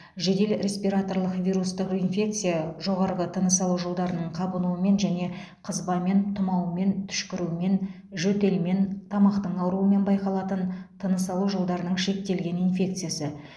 жедел респираторлық вирустық инфекция жоғарғы тыныс алу жолдарының қабынуымен және қызбамен тұмаумен түшкірумен жөтелмен тамақтың ауыруымен байқалатын тыныс алу жолдарының шектелген инфекциясы